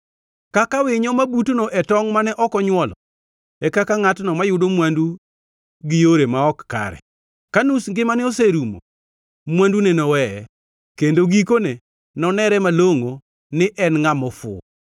Kaka winyo ma butno e tongʼ mane ok onywolo, e kaka ngʼatno mayudo mwandu gi yore ma ok kare. Ka nus ngimane oserumo, mwandune noweye, kendo gikone nonere malongʼo ni en ngʼama ofuwo.